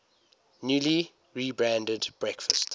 newly rebranded breakfast